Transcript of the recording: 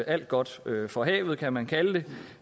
alt godt fra havet kan man kalde det